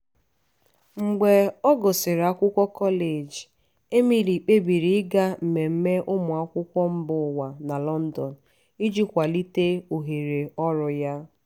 mgbe ọ gụsịrị akwụkwọ kọleji emily kpebiri ịga mmemme ụmụ akwụkwọ mba ụwa na london iji kwalite ohere ọrụ ya.